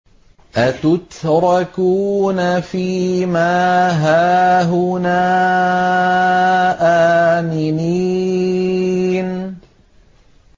أَتُتْرَكُونَ فِي مَا هَاهُنَا آمِنِينَ